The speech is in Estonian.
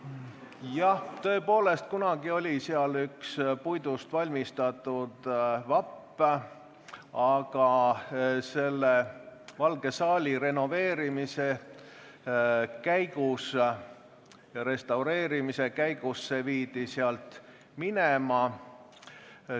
Jah, tõepoolest, kunagi oli seal üks puidust valmistatud vapp, aga Valge saali renoveerimise, restaureerimise käigus see viidi sealt minema.